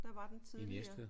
Der var den tidligere